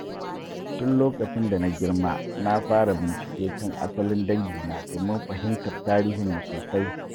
Tun lokacin da na girma, na fara bincike kan asalin dangina domin fahimtar tarihinmu sosai.